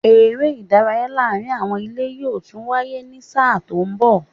Eré ìdárayá láàárín àwọn ilé yóò tún wáyé ní sáà tó mbọ̀